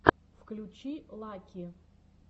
включи лаки